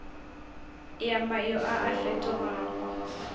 ya mayo a a fetogago